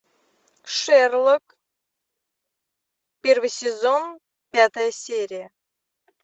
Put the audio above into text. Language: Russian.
шерлок первый сезон пятая серия